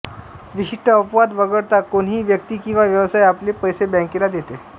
विशिष्ट अपवाद वगळता कोणीही व्यक्ती किंवा व्यवसाय आपले पैसे बँकेला देते